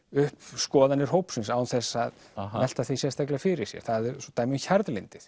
upp skoðanir hópsins án þess að að velta því sérstaklega fyrir sér það er dæmi um